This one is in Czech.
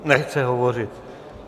Nechce hovořit.